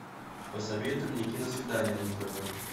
посоветуй мне киносвидание на тв